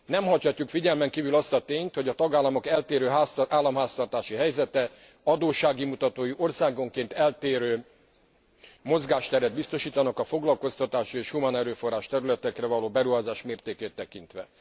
Nem hagyhatjuk figyelmen kívül azt a tényt, hogy a tagállamok eltérő államháztartási helyzete, adóssági mutatói országonként eltérő mozgásteret biztosítanak a foglalkoztatási és humánerőforrás területekre való beruházás mértékét tekintve.